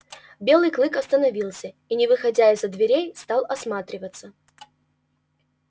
белый клык остановился и не выходя из-за дверей стал осматриваться